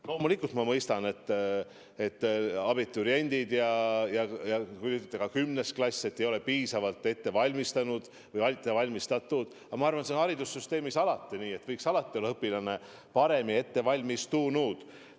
Loomulikult ma mõistan, et abituriendid ja ka 10. klass ei ole piisavalt ette valmistatud, aga ma arvan, et haridussüsteemis on alati nii, et õpilased võiks olla paremini ette valmistatud.